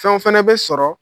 Fɛnw fɛnɛ bɛ sɔrɔ